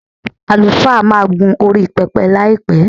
Àlùfáà máa gún orí pẹpẹ láìpẹ́.